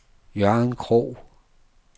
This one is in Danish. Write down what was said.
Jørgen Krog